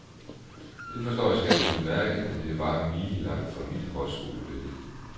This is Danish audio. Det forstår jeg så ganske udmærket, men det er bare milelangt fra mit højskolebillede.